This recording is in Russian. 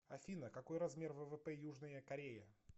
афина какой размер ввп южная корея